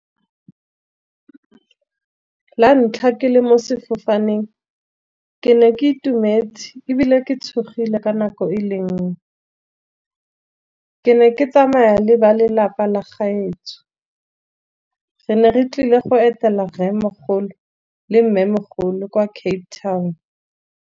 La ntlha ke le mo sefofaneng ke ne ke itumetse, ebile ke tshogile ka nako e le nngwe. Ke ne ke tsamaya le ba lelapa la gaetsho, re ne re tlile go etela rremogolo le mmemogolo kwa Cape Town.